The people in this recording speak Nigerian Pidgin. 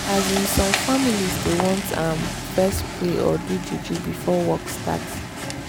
asin some families dey want ehh fess pray or do juju before work start